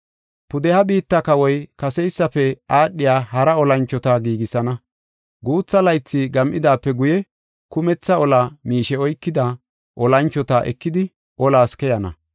“Pudeha biitta kawoy kaseysafe aadhiya hara olanchota giigisana. Guutha laythi gam7idaape guye, kumetha ola miishe oykida, olanchota ekidi olas keyana.